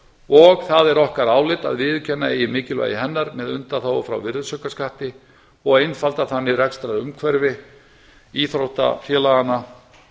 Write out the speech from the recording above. og það er okkar álit að viðurkenna eigi mikilvæga hennar með undanþágu frá virðisaukaskatti og einfalda þannig rekstrarumhverfi íþróttafélaganna